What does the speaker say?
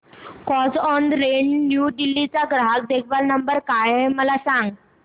Carzonrent New Delhi चा ग्राहक देखभाल नंबर काय आहे मला सांग